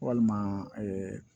Walima